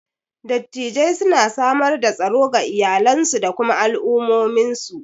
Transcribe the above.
Dattijai suna samar da tsaro ga iyalansu da kuma al'ummominsu.